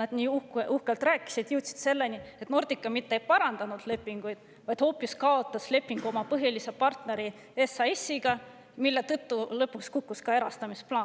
nad nii uhkelt rääkisid, jõudsid selleni, et Nordica mitte ei parandanud lepinguid, vaid hoopis kaotas lepingu oma põhilise partneri SAS-iga, mille tõttu lõpuks kukkus läbi ka erastamisplaan.